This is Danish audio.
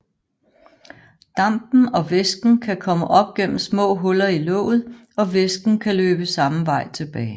Dampen og væsken kan komme op igennem små huller i låget og væsken kan løbe samme vej tilbage